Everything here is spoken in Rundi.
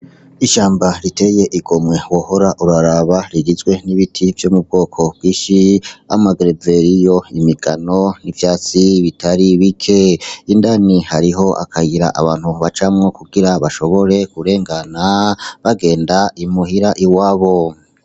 Ishamba riteye igomwe wohora uraraba rigizwe n'ibiti vyo mubgoko bginshi nkama greveriyo, imigano ivyatsi bitari bike indani hariho akayira abantu bacamwo kugira bashobore kurengana bagenda imuhira iwabo .